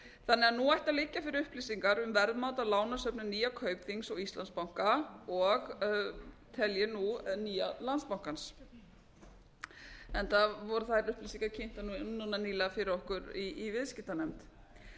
þannig að nú ættu að liggja fyrir upplýsingar um verðmat á lánasöfnum nýja kaupþings og íslandsbanka og tel ég nú nýja landsbankans enda voru þær upplýsingar kynntar nú nýlega fyrir okkur í viðskiptanefnd